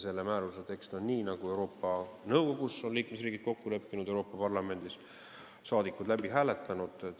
Selle määruse tekst on selline, nagu liikmesriigid on nõukogus kokku leppinud ja Euroopa Parlamendis saadikud läbi hääletanud.